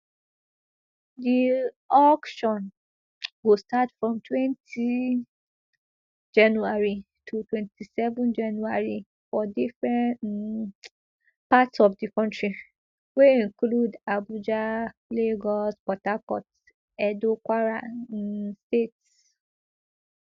di eauction go start from twenty january to twenty-seven january for different um parts of di kontri wey include abuja lagos port harcourt edo kwara um states